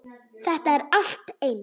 Þetta er allt eins!